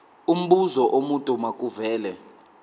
umbuzo omude makuvele